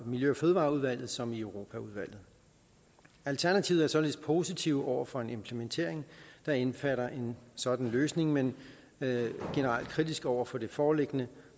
miljø og fødevareudvalget som i europaudvalget alternativet er således positive over for en implementering der indbefatter en sådan løsning men er generelt kritiske over for den foreliggende